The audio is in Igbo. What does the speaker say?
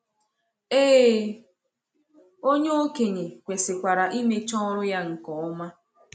Ee, onye okenye kwesịkwara imecha ọrụ ya nke ọma.